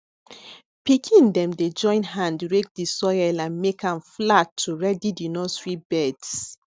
pikin dem dey join hand rake di soil and make am flat to ready di nursery beds